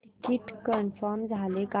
ticket confirm झाले का